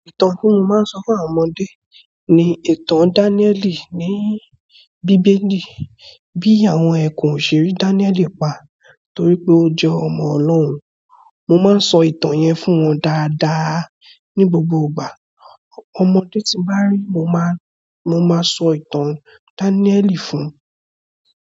Ìtàn tí mo máa ń sọ fún àwọn ọmọdé ni ìtàn Dáníẹ́ẹ̀lì ní Bíbélì. Bí àwọn ẹkùn o ṣe rí Dáníẹ́ẹ̀lì pa torí pé ó jẹ́ ọmọ Ọlọ́run. Mo máa ń sọ ìtàn yẹn fún wọn dáadáa ní gbogbo ìgbà. Ọmọdé tí mo bá ri, mo máa, mo máa sọ ìtàn Dáníẹ́ẹ̀lì fún un.